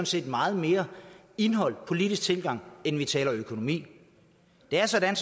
set meget mere indhold og politisk tilgang end økonomi det er sådan